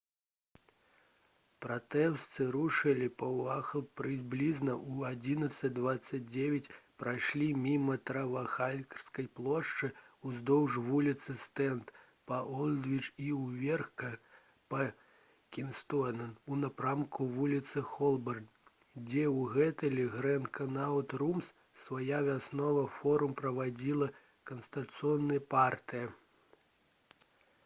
пратэстоўцы рушылі па уайтхол прыблізна ў 11:29 прайшлі міма трафальгарскай плошчы уздоўж вуліцы стрэнд па олдвіч і ўверх па кінгсуэй у напрамку вуліцы холбарн дзе ў гатэлі «гранд канаут румс» свой вясновы форум праводзіла кансерватыўная партыя